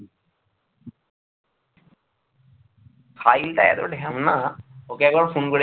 সাহিল টা এত ঢ্যামনা ওকে আমি একবার phone করেছি